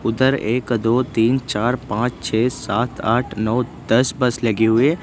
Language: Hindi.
उधर एक दो तीन चार पांच छह सात आठ नौ दस बस लगे हुए।